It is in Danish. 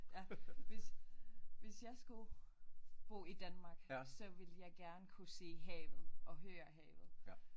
Ja hvis hvis jeg skulle bo i Danmark så ville jeg gerne kunne se havet og høre havet